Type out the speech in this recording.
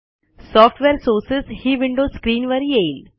software sources ही window स्क्रीनवर येईल